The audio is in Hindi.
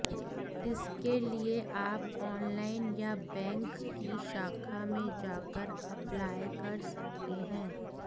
इसके लिए आप ऑनलाइन या बैंक की शाखा में जाकर अप्लाई कर सकते हैं